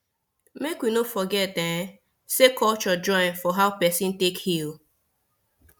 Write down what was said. make we we no forget um say culture join for how person take heal